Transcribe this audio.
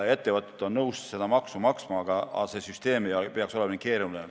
Ettevõtted on nõus seda maksma, aga see süsteem ei tohiks olla keeruline.